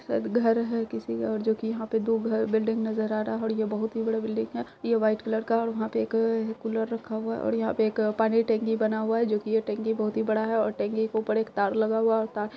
शायद घर है किसी का और जो कि यहां पर दो घर बिल्डिंग नजर आ रहा है और यह बहुत ही बड़ा बिल्डिंग है। यह व्हाइट कलर का यहाँ पे एक कूलर रखा हुआ है और यहां पे एक पानी टंकी बना हुआ है जो कि ये टंकी बहुत ही बड़ा है और टंकी के ऊपर एक तार लगा हुआ है और तार --